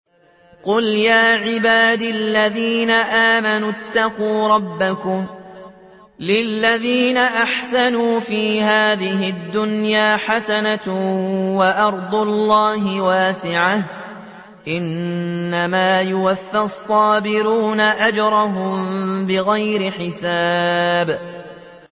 قُلْ يَا عِبَادِ الَّذِينَ آمَنُوا اتَّقُوا رَبَّكُمْ ۚ لِلَّذِينَ أَحْسَنُوا فِي هَٰذِهِ الدُّنْيَا حَسَنَةٌ ۗ وَأَرْضُ اللَّهِ وَاسِعَةٌ ۗ إِنَّمَا يُوَفَّى الصَّابِرُونَ أَجْرَهُم بِغَيْرِ حِسَابٍ